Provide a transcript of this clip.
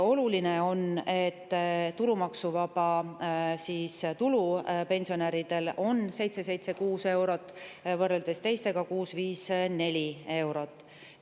Oluline on, et tulumaksuvaba tulu on pensionäridel 776 eurot, kui teistel on see 654 eurot.